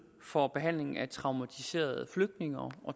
for behandling af traumatiserede flygtninge og